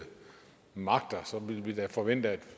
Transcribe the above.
magter så ville vi da forvente at